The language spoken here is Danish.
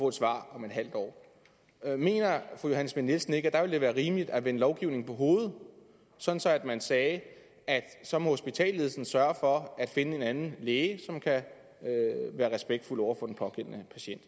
et svar om et halvt år mener fru johanne schmidt nielsen ikke at det være rimeligt at vende lovgivningen på hovedet så man sagde at så må hospitalsledelsen sørge for at finde en anden læge som kan være respektfuld over for den pågældende patient